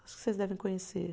Acho que vocês devem conhecer.